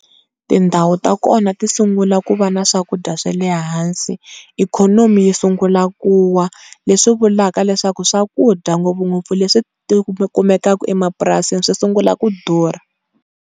Tindhawu ta kona ti sungula ku va na swakudya wa le hansi, ikhonomi yi sungula ku wa, leswi vulavula leswaku swakudya ngopfungopfu leswi kumekaka emapurasini swi sungula ku durha.